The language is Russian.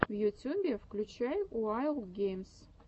в ютюбе включай уайлд геймс